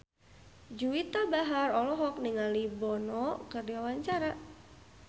Juwita Bahar olohok ningali Bono keur diwawancara